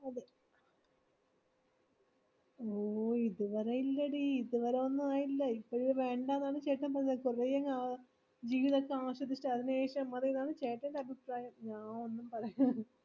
ഓ ഇതുവരെ ഇല്ലടി ഇതുവരെ ഒന്നും ആയില്ല ഇപ്പോഴ് വേണ്ട ആണ് ചേട്ടൻ പറയുന്നത് കുറെ ജീവിതോക്കെ ആശ്വദിച്ചു അതിനുശേഷം മതിനാണ് ചേട്ടൻ അഭിപ്രായം അഹ് ഒന്നുംപറയൻഡിടി